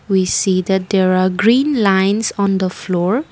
we see that there are green lines on the floor.